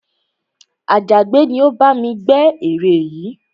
Àjàgbẹ́ ni ó bá mi gbẹ́ ère yìí